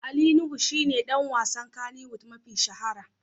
Ali Nuhu shi ne ɗan wasan Kannywood mafi shahara.